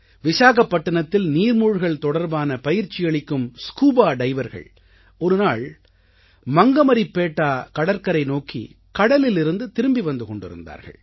விசாகப்பட்டினத்தில் நீர்மூழ்கல் தொடர்பான பயிற்சி அளிக்கும் ஸ்கூபா டைவர்கள் ஒருநாள் மங்கமரிப்பேட்டா கடற்கரை நோக்கி கடலிலிருந்து திரும்பி வந்து கொண்டிருந்தார்கள்